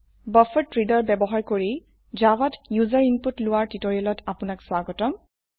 buffered reader ব্যবহাৰ কৰি জাভাত ইউজাৰ ইনপুট লোৱাৰ টিউটোৰিয়েলত আপনাক স্বাগতম